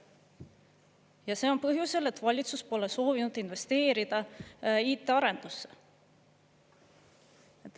Ja see on põhjusel, et valitsus pole soovinud investeerida IT-arendusse.